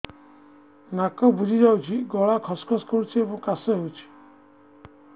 ନାକ ବୁଜି ଯାଉଛି ଗଳା ଖସ ଖସ କରୁଛି ଏବଂ କାଶ ହେଉଛି